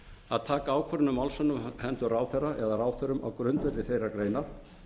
að taka ákvörðun um málshöfðun á hendur ráðherra eða ráðherrum á grundvelli þeirrar greinar